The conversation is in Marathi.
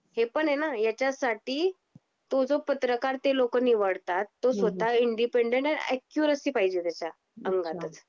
हे पण आहेना. ह्याच्या साठी तो जो पत्रकार ते लोक निवडतात तो स्वतः इंडिपेंडें अँड अॅक्युरसी पाहिजे त्याच्या अंगातच.